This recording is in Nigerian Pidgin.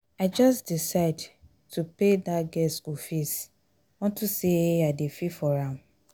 i just decide to pay dat girl school fees unto say i dey feel sorry for am